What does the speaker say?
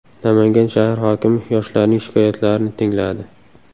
Namangan shahar hokimi yoshlarning shikoyatlarini tingladi.